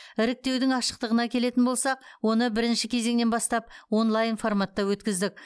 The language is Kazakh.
іріктеудің ашықтығына келетін болсақ оны бірінші кезеңнен бастап онлайн форматта өткіздік